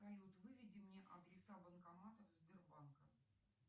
салют выведи мне адреса банкоматов сбербанка